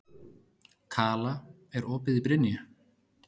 Kala, er opið í Brynju?